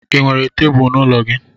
Ị nwere tebulu n'ụlọ gị?